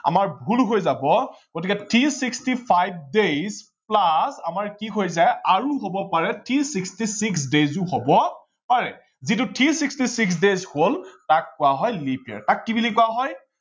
আমাৰ ভূল হৈ যাব গতিকে three sixty five days plus আমাৰ কি হৈ যায় আৰু কি হব পাৰে three sixty six days ও হব পাৰে। যিটো three sixty six days হল তাক কোৱা হয় leap year তাক কি বুলি কোৱা হয়